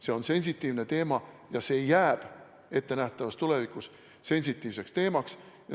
See on sensitiivne teema ja see jääb ettenähtavas tulevikus sensitiivseks teemaks.